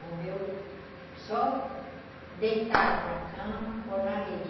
Morreu só deitado na cama ou na rede.